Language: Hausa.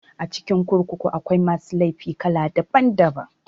A cikin kurkuku akwai masu laifi kala daban daban